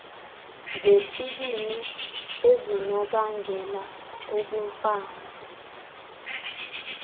zesibini ezinobangela ubumfama